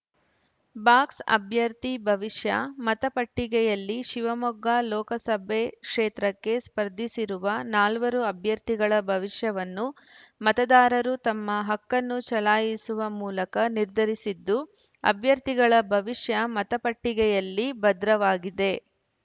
box ಅಭ್ಯರ್ಥಿ ಭವಿಷ್ಯ ಮತಪಟ್ಟಿಗೆಯಲ್ಲಿ ಶಿವಮೊಗ್ಗ ಲೋಕಾಸಭೆ ಕ್ಷೇತ್ರಕ್ಕೆ ಸ್ಪರ್ಧಿಸಿರುವ ನಾಲ್ವರು ಅಭ್ಯರ್ಥಿಗಳ ಭವಿಷ್ಯವನ್ನು ಮತದಾರರು ತಮ್ಮ ಹಕ್ಕನ್ನು ಚಲಾಯಿಸುವ ಮೂಲಕ ನಿರ್ಧರಿಸಿದ್ದು ಅಭ್ಯರ್ಥಿಗಳ ಭವಿಷ್ಯ ಮತಪಟ್ಟಿಗೆಯಲ್ಲಿ ಭದ್ರವಾಗಿದೆ